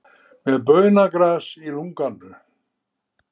Með baunagras í lunganu